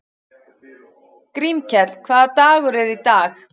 Grímkell, hvaða dagur er í dag?